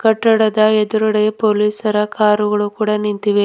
ಕಟ್ಟಡದ ಎದುರುಗಡೆ ಪೋಲಿಸರ ಕಾರುಗಳು ಕೂಡ ನಿಂತಿವೆ.